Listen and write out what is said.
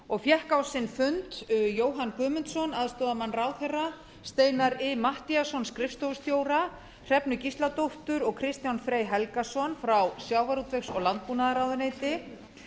og fékk á sinn fund jóhann guðmundsson aðstoðarmann ráðherra steinar fyrstu matthíasson skrifstofustjóra hrefnu gísladóttur og kristján frey helgason frá sjávarútvegs og landbúnaðarráðuneyti